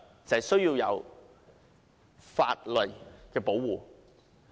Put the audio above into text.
就是需要給他法律的保護。